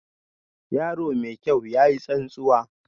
Yaro mai kyau, ya yi tsantsuwa